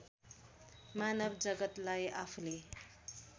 मानव जगत्‌लाई आफूले